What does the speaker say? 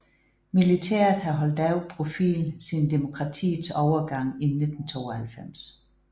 Militæret har holdt lav profil siden demokratiets overgang i 1992